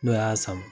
N'o y'a sama